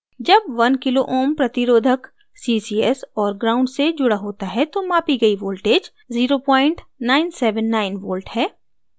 जब 1 kω kilo ohms प्रतिरोधक resistor ccs और gnd से जुड़ा होता है तो मापी ccs voltage 0979v है